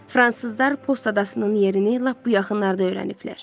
Fransızlar Post adasının yerini lap bu yaxınlarda öyrəniblər.